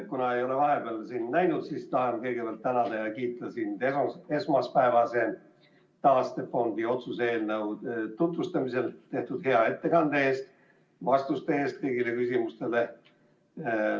Kuna ma ei ole vahepeal sind näinud, siis tahan kõigepealt tänada ja kiita sind esmaspäevase taastefondi otsuse eelnõu tutvustamisel tehtud hea ettekande eest ja kõigile küsimustele antud vastuste eest.